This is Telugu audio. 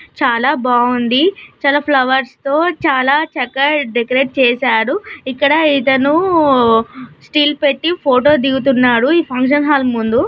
చాలా భాగుంది చాలా ఫ్లవర్స్ తో చాలా చక్కగా డెకరేట్ చేసారు ఇక్కడ ఇతనూ స్టిల్ పెట్టి ఫోటో దిగుతున్నాడు. ఈ ఫంక్షన్ హాల్ ముందు.